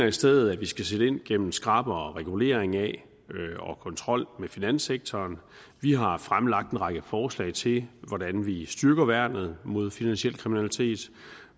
i stedet skal sætte ind gennem skrappere regulering af og kontrol med finanssektoren vi har fremlagt en række forslag til hvordan vi styrker værnet mod finansiel kriminalitet